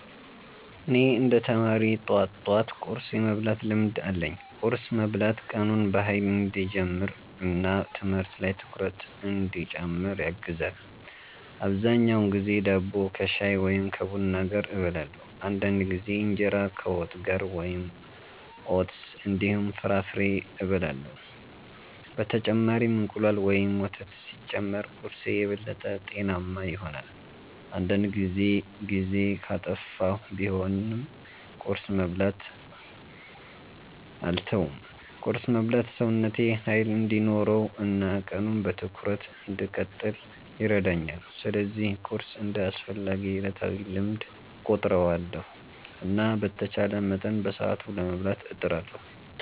እኔ እንደ ተማሪ ጠዋት ጠዋት ቁርስ የመብላት ልምድ አለኝ። ቁርስ መብላት ቀኑን በኃይል እንዲጀምር እና ትምህርት ላይ ትኩረት እንዲጨምር ያግዛል። አብዛኛውን ጊዜ ዳቦ ከሻይ ወይም ከቡና ጋር እበላለሁ። አንዳንድ ጊዜ እንጀራ ከወጥ ጋር ወይም ኦትስ እንዲሁም ፍራፍሬ እበላለሁ። በተጨማሪም እንቁላል ወይም ወተት ሲጨመር ቁርስዬ የበለጠ ጤናማ ይሆናል። አንዳንድ ጊዜ ጊዜ ካጠፋሁ ቢሆንም ቁርስ መብላትን አልተውም። ቁርስ መብላት ሰውነቴ ኃይል እንዲኖረው እና ቀኑን በትኩረት እንድቀጥል ይረዳኛል። ስለዚህ ቁርስን እንደ አስፈላጊ ዕለታዊ ልምድ እቆጥራለሁ እና በተቻለ መጠን በሰዓቱ ለመብላት እጥራለሁ።